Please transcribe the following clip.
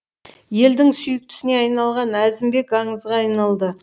елдің сүйіктісіне айналған әзімбек аңызға айналды